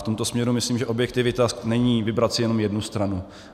V tomto směru myslím, že objektivita není vybrat si jenom jednu stranu.